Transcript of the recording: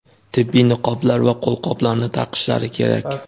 tibbiy niqoblar va qo‘lqoplarni taqishlari kerak.